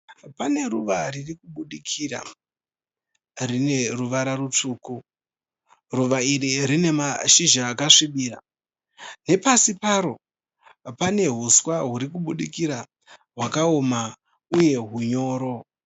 Pane ruva riri kubudikira rine ruvara rutsvuku. Ruva iri rine mashizha akasvibira. Nepasi paro pane huswa huri kubudikira hwakaoma uye hunyoro.